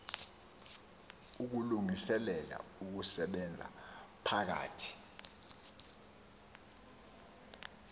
ukulungiselela ukusebenza phakathi